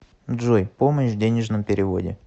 джой помощь в денежном переводе